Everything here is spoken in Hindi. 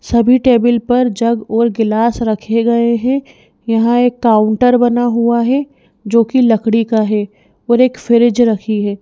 सभी टेबल पर जग और गिलास रखे गए हैं यहां एक काउंटर बना हुआ है जोकि लकड़ी का है और एक फ्रीज़ रखी है।